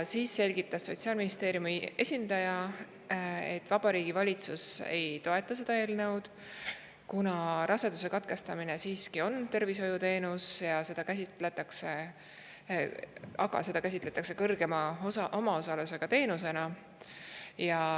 Siis selgitas Sotsiaalministeeriumi esindaja, et Vabariigi Valitsus ei toeta seda eelnõu, kuna raseduse katkestamine siiski on tervishoiuteenus, aga seda käsitletakse teenusena, mille puhul omaosalus on suurem.